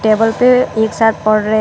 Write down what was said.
Table पे एक साथ पढ़ रहे हैं।